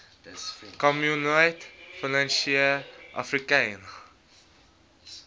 communaute financiere africaine